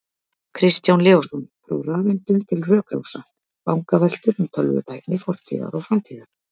Kristján Leósson, Frá rafeindum til rökrása: Vangaveltur um tölvutækni fortíðar og framtíðar